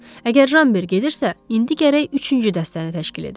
Əgər Ramber gedirsə, indi gərək üçüncü dəstəni təşkil edək.